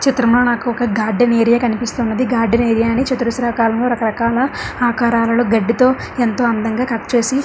చిత్రం లో నాకొక గార్డెన్ ఏరియా కానిస్తున్నది గార్డెన్ ఏరియా ని చతురస్ర ఆకారము రక రకాల ఆకారాలలో గడ్డితో ఎంతో అందంగా కట్ చేసి--